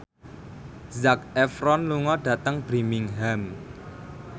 Zac Efron lunga dhateng Birmingham